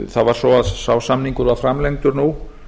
það var svo að sá samningur var framlengdur nú